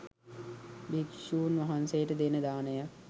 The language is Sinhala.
භික්ෂුන් වහන්සේට දෙන දානයත්